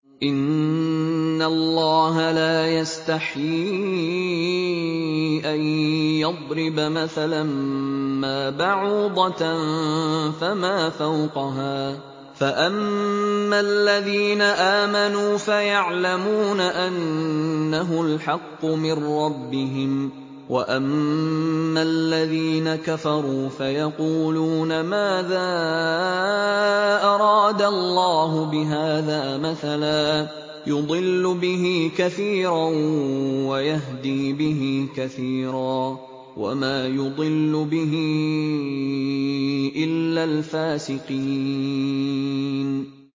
۞ إِنَّ اللَّهَ لَا يَسْتَحْيِي أَن يَضْرِبَ مَثَلًا مَّا بَعُوضَةً فَمَا فَوْقَهَا ۚ فَأَمَّا الَّذِينَ آمَنُوا فَيَعْلَمُونَ أَنَّهُ الْحَقُّ مِن رَّبِّهِمْ ۖ وَأَمَّا الَّذِينَ كَفَرُوا فَيَقُولُونَ مَاذَا أَرَادَ اللَّهُ بِهَٰذَا مَثَلًا ۘ يُضِلُّ بِهِ كَثِيرًا وَيَهْدِي بِهِ كَثِيرًا ۚ وَمَا يُضِلُّ بِهِ إِلَّا الْفَاسِقِينَ